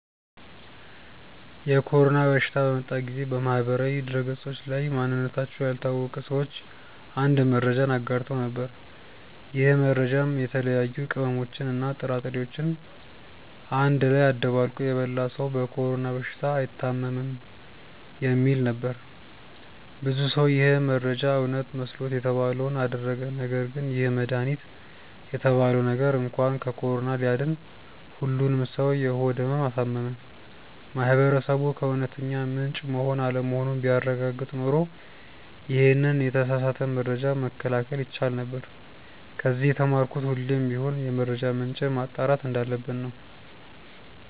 የኮሮና በሽታ በመጣ ጊዜ በማህበራዊ ድህረገጾች ላይ ማንነታቸው ያልታወቀ ሰዎች አንድ መረጃን አጋርተው ነበር። ይህ መረጃም የተለያዩ ቅመሞችን እና ጥራጥሬዎችን አንድ ላይ አደባልቆ የበላ ሰው በኮሮና በሽታ አይታምም የሚል ነበር። ብዙ ሰው ይህ መረጃ እውነት መስሎት የተባለውን አደረገ ነገርግን ይህ መድሃኒት የተባለው ነገር እንኳን ከኮሮና ሊያድን ሁሉንም ሰው የሆድ ህመም አሳመመ። ማህበረሰቡ ከእውነተኛ ምንጭ መሆን አለመሆኑን ቢያረጋግጥ ኖሮ ይሄንን የተሳሳተ መረጃ መከላከል ይቻል ነበር። ከዚ የተማርኩት ሁሌም ቢሆን የመረጃ ምንጭን ማጣራት እንዳለብን ነው።